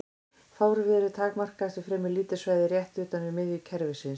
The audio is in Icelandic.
Fárviðrið takmarkast við fremur lítið svæði rétt utan við miðju kerfisins.